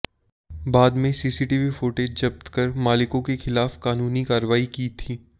बादमे CCTV footage जप्त कर मालिको के खिलाफ कानूनी कार्रवाई की थी